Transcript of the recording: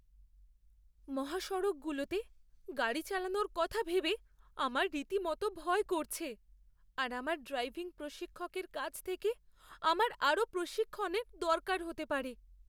মহাসড়কগুলোতে গাড়ি চালানোর কথা ভেবে আমার রীতিমতো ভয় করছে আর আমার ড্রাইভিং প্রশিক্ষকের কাছ থেকে আমার আরও প্রশিক্ষণের দরকার হতে পারে।